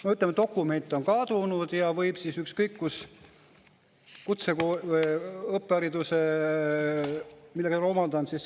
No ütleme, dokument on kadunud ja võib siis ükskõik kus, kutseõppehariduses, mille ta on omandanud …